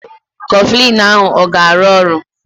Kọflịn ahụ a ga-arụ ọrụ?